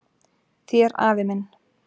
Þér afi minn.